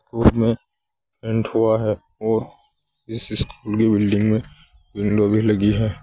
में पेंट हुआ है और इस स्कूल की बिल्डिंग में विंडो भी लगी है।